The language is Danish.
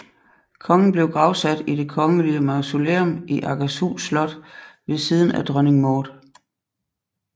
Kongen blev gravsat i Det Kongelige Mausoleum i Akershus Slot ved siden af Dronning Maud